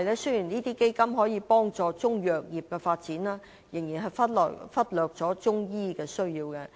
雖然基金能夠幫助中藥業的發展，但仍然忽略中醫的需要。